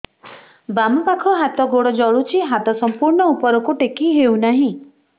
ବାମପାଖ ହାତ ଗୋଡ଼ ଜଳୁଛି ହାତ ସଂପୂର୍ଣ୍ଣ ଉପରକୁ ଟେକି ହେଉନାହିଁ